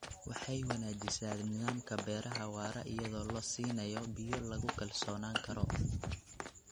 Waxay wanaajisaa nidaamka beeraha waara iyadoo la siinayo biyo lagu kalsoonaan karo.